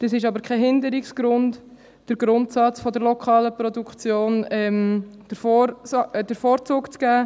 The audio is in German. Das ist aber kein Hinderungsgrund, dem Grundsatz der lokalen Produktion den Vorzug zu geben.